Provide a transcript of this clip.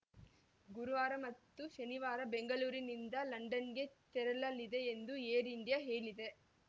ಗುರುವಾರ ಮತ್ತು ಶನಿವಾರ ಬೆಂಗಳೂರಿನಿಂದ ಲಂಡನ್‌ಗೆ ತೆರಳಲಿದೆ ಎಂದು ಏರ್‌ ಇಂಡಿಯಾ ಹೇಳಿದೆ